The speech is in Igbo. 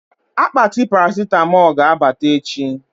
Akpati Parasịtamọ ga-abata echi